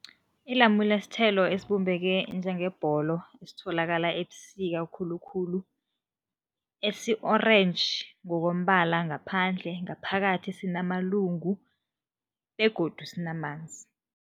Ilamule sithelo esibumbeke njengebholo esitholakala ebusika khulukhulu, esi-orange ngokombala ngaphandle, ngaphakathi sinamalungu begodu sinamanzi.